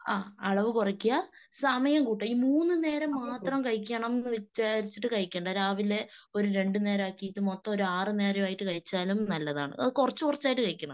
ആഹ് അളവ് കുറക്കുക. സമയം കൂട്ടുക. ഈ മൂന്നുനേരം മാത്രം കഴിക്കണംന്ന് വിചാരിച്ചിട്ട് കഴിക്കണ്ട. രാവിലെ ഒരു രണ്ടുനേരമാക്കിയിട്ട് മൊത്തം ഒരു ആറുനേരമായിട്ട് കഴിച്ചാലും നല്ലതാണ്. കുറച്ചുകുറച്ചായിട്ട് കഴിക്കണം.